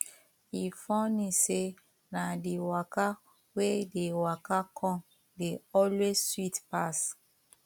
e funny say na the waka wey dey waka come dey always sweet pass